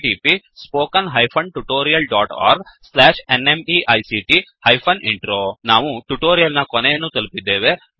httpspoken tutorialorgNMEICT Intro ನಾವು tutorial ನ ಕೊನೆಯನ್ನು ತಲುಪಿದ್ದೇವೆ